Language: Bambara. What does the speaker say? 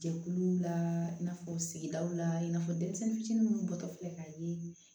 Jɛkuluw la i n'a fɔ sigidaw la i n'a fɔ denmisɛnnin fitinin minnu bɔtɔ filɛ k'a ye